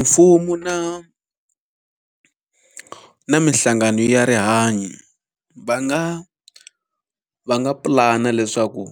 Mfumo na na minhlangano ya rihanyo va nga va nga pulana leswaku